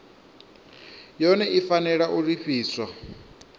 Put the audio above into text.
yone i fanela u lifhiwa